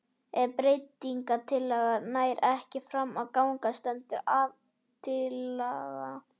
Ef breytingatillaga nær ekki fram að ganga stendur aðaltillaga.